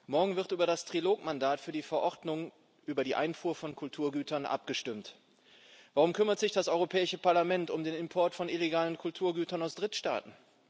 Morgen wird über das Trilogmandat für die Verordnung über die Einfuhr von Kulturgütern abgestimmt. Warum kümmert sich das Europäische Parlament um den Import von illegalen Kulturgütern aus Drittstaaten?